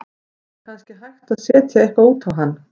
Það er kannski hægt að setja eitthvað út á hann.